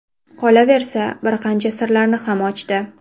Qolaversa, bir qancha sirlarini ham ochdi.